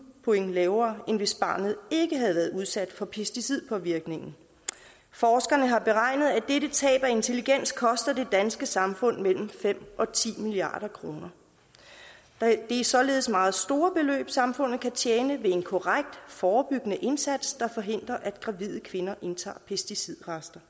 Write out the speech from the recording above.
point lavere end hvis barnet ikke havde været udsat for pesticidpåvirkningen forskerne har beregnet at tabet i intelligens koster det danske samfund mellem fem og ti milliard kroner det er således meget store beløb samfundet kan tjene ved en korrekt forebyggende indsats der forhindrer at gravide kvinder indtager pesticidrester